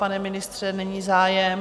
Pane ministře, není zájem?